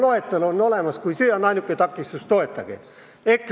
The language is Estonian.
Loetelu on olemas ja kui see on ainuke takistus, siis toetage!